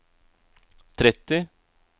tretti